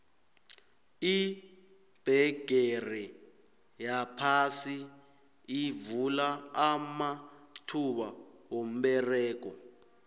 ibhegere yaphasi ivula amathuba womberego